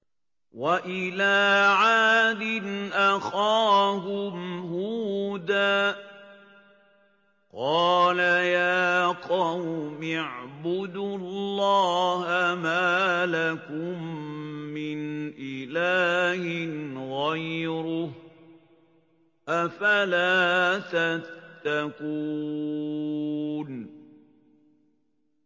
۞ وَإِلَىٰ عَادٍ أَخَاهُمْ هُودًا ۗ قَالَ يَا قَوْمِ اعْبُدُوا اللَّهَ مَا لَكُم مِّنْ إِلَٰهٍ غَيْرُهُ ۚ أَفَلَا تَتَّقُونَ